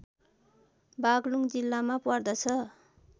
बाग्लुङ जिल्लामा पर्दछ